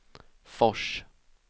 Fors